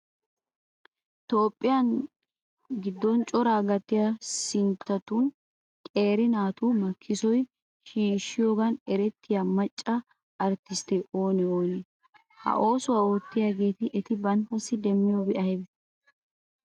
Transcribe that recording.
Toophphiya giddon coraa gattiya sinttatun qeera naatu makkisuwa shiishshiyogan erettiya macca arttistteti oonee oonee? Ha oosuwa oottiyogan eti banttassi demmiyobi aybee?